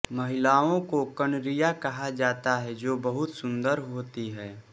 महिलाओं को किन्नरियाँ कहा जाता है जो बहुत सुन्दर होती हैं